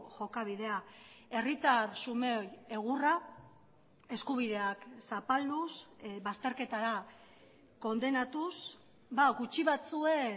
jokabidea herritar xumeei egurra eskubideak zapalduz bazterketara kondenatuz gutxi batzuen